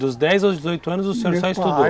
Dos dez aos dezoito anos o senhor só estudou? Meu pai